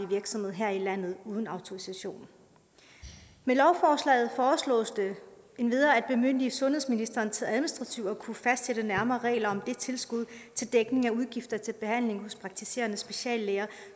virksomhed her i landet uden autorisation med lovforslaget foreslås det endvidere at bemyndige sundhedsministeren til administrativt at kunne fastsætte nærmere regler om det tilskud til dækning af udgifter til behandling hos praktiserende speciallæger